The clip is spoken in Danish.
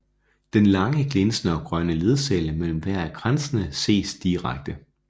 Den lange glinsende og grønne ledcelle mellem hver af kransene ses direkte